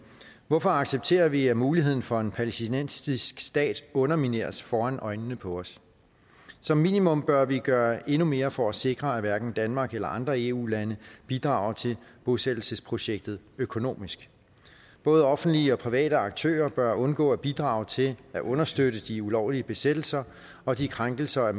hvorfor accepterer vi at muligheden for at en palæstinensisk stat undermineres foran øjnene på os som minimum bør vi gøre endnu mere for at sikre at hverken danmark eller andre eu lande bidrager til bosættelsesprojektet økonomisk både offentlige og private aktører bør undgå at bidrage til at understøtte de ulovlige besættelser og de krænkelser af